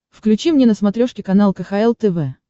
включи мне на смотрешке канал кхл тв